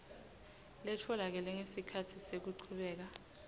letfolakele ngesikhatsi sekuchubeka